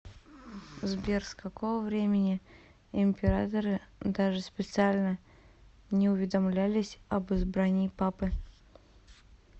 сбер с какого времени императоры даже специально не уведомлялись об избрании папы